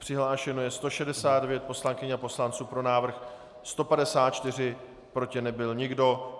Přihlášeno je 169 poslankyň a poslanců, pro návrh 154, proti nebyl nikdo.